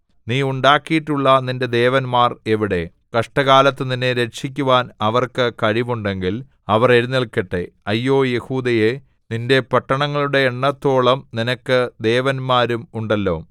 നീ ഉണ്ടാക്കിയിട്ടുള്ള നിന്റെ ദേവന്മാർ എവിടെ കഷ്ടകാലത്തു നിന്നെ രക്ഷിക്കുവാൻ അവർക്ക് കഴിവുണ്ടെങ്കിൽ അവർ എഴുന്നേല്ക്കട്ടെ അയ്യോ യെഹൂദയേ നിന്റെ പട്ടണങ്ങളുടെ എണ്ണത്തോളം നിനക്ക് ദേവന്മാരും ഉണ്ടല്ലോ